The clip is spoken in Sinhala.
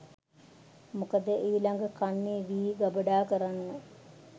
මොකද ඊළඟ කන්නේ වී ගබඩා කරන්න